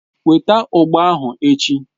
Weta ugba ahu echi.!